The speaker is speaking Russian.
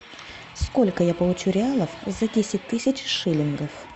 сколько я получу реалов за десять тысяч шиллингов